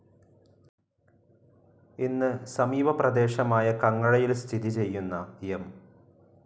ഇന്ന്‌ സമീപ പ്രദേശമായ കങ്ങഴയിൽ സ്ഥിതി ചെയ്യുന്ന എം.